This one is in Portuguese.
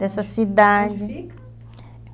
Dessa cidade... Onde fica?